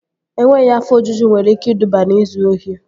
Enweghị afọ ojuju nwere ike iduba n'izu ori